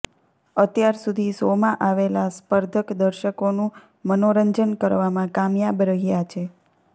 અત્યાર સુધી શોમાં આવેલા સ્પર્ધક દર્શકોનું મનોરંજન કરવામાં કામયાબ રહ્યાં છે